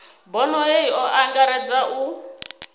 bono hei o angaredza u